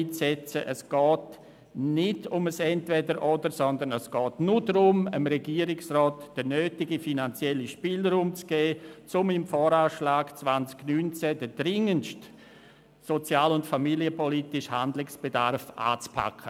Es geht nicht um ein Entweder-oder, sondern es geht nur darum, dem Regierungsrat den nötigen finanziellen Spielraum zu geben, um mit dem Voranschlag 2019 auf den dringendsten sozial- und familienpolitischen Handlungsbedarf einzugehen.